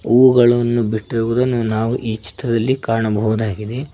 ಹುವುಗಳನ್ನು ಬಿಟ್ಟಿವುದನ್ನು ನಾವು ಈ ಚಿತ್ತದಲ್ಲಿ ಕಾಣಬಹುದಾಗಿದೆ.